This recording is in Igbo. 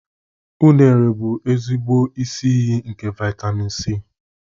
Unere bụ ezigbo isi iyi nke vitemin C.